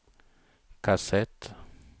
kassett